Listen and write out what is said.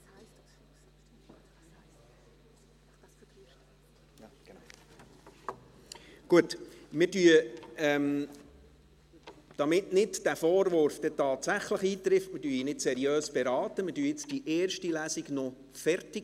Damit der Vorwurf, wir würden nicht seriös beraten, nicht tatsächlich eintrifft, machen wir in diesem Fall die erste Lesung noch fertig.